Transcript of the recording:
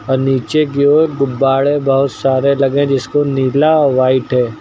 और नीचे की ओर गुब्बाडे बहुत सारे लगे है जिसको नीला और व्हाइट है।